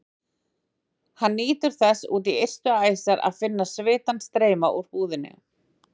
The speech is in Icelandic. Hann nýtur þess út í ystu æsar að finna svitann streyma úr húðinni.